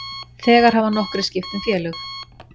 Þegar hafa nokkrir skipt um félög.